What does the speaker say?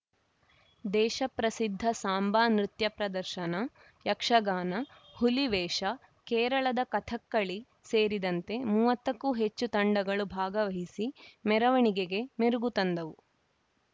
ದೇಶ ಪ್ರಸಿದ್ಧ ಸಾಂಬಾ ನೃತ್ಯ ಪ್ರದರ್ಶನ ಯಕ್ಷಗಾನ ಹುಲಿವೇಷ ಕೇರಳದ ಕಥಕ್ಕಳಿ ಸೇರಿದಂತೆ ಮೂವತ್ತಕ್ಕೂ ಹೆಚ್ಚು ತಂಡಗಳು ಭಾಗವಹಿಸಿ ಮೆರವಣಿಗೆಗೆ ಮೆರಗು ತಂದವು